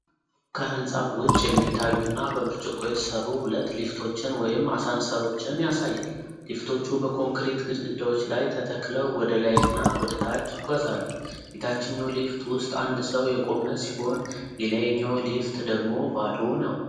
ከሕንፃው ውጭ የሚታዩና በብርጭቆ የተሠሩ ሁለት ሊፍቶችን ወይም አሳንስሮችን ያሳያል። ሊፍቶቹ በኮንክሪት ግድግዳዎች ላይ ተተክለው ወደ ላይና ወደ ታች ይጓዛሉ። የታችኛው ሊፍት ውስጥ አንድ ሰው የቆመ ሲሆን፤ የላይኛው ሊፍት ደግሞ ባዶ ነው።